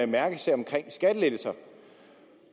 mærkesag om skattelettelser